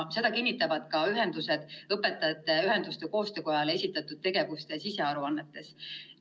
Seda kinnitavad ka ühendused Õpetajate Ühenduste Koostöökojale esitatud tegevuste sisearuannetes.